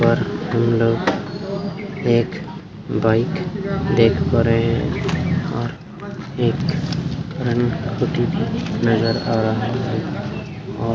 और हमलोग एक बाइक देख पा रहे है और एक भी नजर आ रहा है और --